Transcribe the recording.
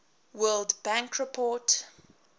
world bank report